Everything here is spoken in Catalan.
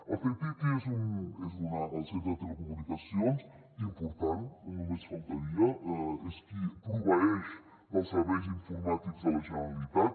el ctti és el centre de telecomunicacions important només faltaria és qui proveeix els serveis informàtics de la generalitat